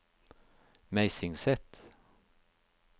Meisingset